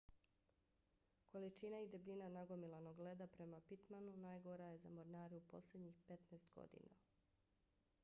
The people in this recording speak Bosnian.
količina i debljina nagomilanog leda prema pittmanu najgora je za mornare u posljednjih 15 godina